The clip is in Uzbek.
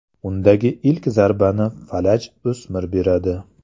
Undagi ilk zarbani falaj o‘smir beradi .